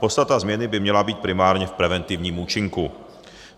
Podstata změny by měla být primárně v preventivním účinku.